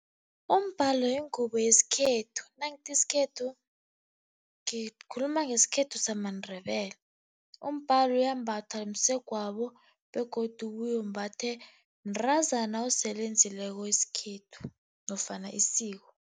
Umbhalo yingubo yesikhethu, nangithi isikhethu ngikhuluma ngesikhethu samaNdebele. Umbhalo uyambathwa msegwabo begodu ubuye umbathwe mntazana osele enzileko isikhethu nofana isiko.